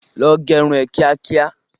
Lọ gẹrun ẹ kíá kíá!